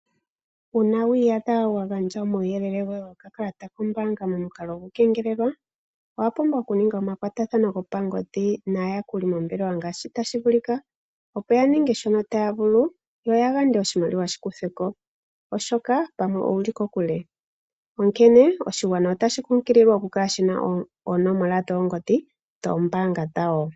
Uuna wiiyadha wagandja omauyelele goye gokakakalata koye kombaanga momukalo gokukengelelwa, owapumbwa okuninga omakwatathano gopangodhi naayakuli yomombelelwa meendelelo ngaashi tashivulika opo yaninge shoka taya vulu yo yayande oshimaliwa shikuthweko oshoka pamwe owuli kokule. Onkene oshigwana otashi kunkililwa opo shikale shina oonomola dhoongodhi dhoombaanga dhawo.